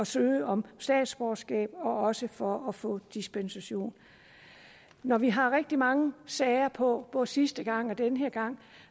søge om statsborgerskab og også for at få dispensation når vi har rigtig mange sager på både sidste gang og den her gang